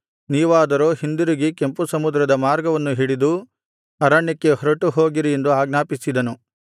ನೀವಾದರೋ ಹಿಂದಿರುಗಿ ಕೆಂಪು ಸಮುದ್ರದ ಮಾರ್ಗವನ್ನು ಹಿಡಿದು ಅರಣ್ಯಕ್ಕೆ ಹೊರಟುಹೋಗಿರಿ ಎಂದು ಆಜ್ಞಾಪಿಸಿದನು